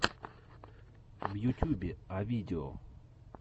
в ютюбе а видео